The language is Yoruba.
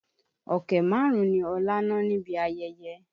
Ọ̀kẹ́ márùn-ún ni Ọlá ná níbi ayẹyẹ.